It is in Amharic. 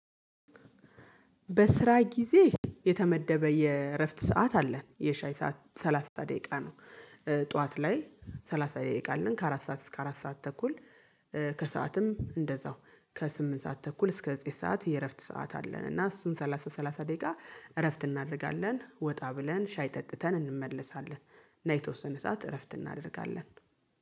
በስራ ጊዜ የተመደበ የእረፍት ሰዓት አለን የሻይ ሰዓት ሰላሳ ደቂቃ ነው። ጠዋት ላይ ሰላሳ ደቂቃ አለን ከአራት ሰዓት እስከ አራት ሰዓት ተኩል። ከሰአትም እንደዛው ከስምንት ሰዓት ተኩል እስከ ዘጠኝ ሰዓት የእረፍት ሰዓት አለን። እና እሱን ሰላሳ ሰላሳ ደቂቃ እረፍት እናደርጋለን ወጣ ብለን ሻይ ጠጥተን እንመለሳለን። እና የተወሰነ ሰዓት እረፍት እናደርጋለን